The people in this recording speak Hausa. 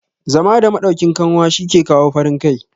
zama da madaukin kanwa shi ke kawo farin Kai